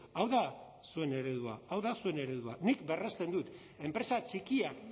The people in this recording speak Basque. hau da zuen eredua hau da zuen eredua nik berresten dut enpresa txikiak